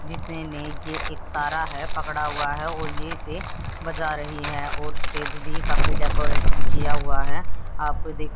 जिसने की एक तारा है पकड़ा हुआ है और ये इसे बजा रही है और स्टेज भी काफी डेकोरेटेड किया हुआ है आप--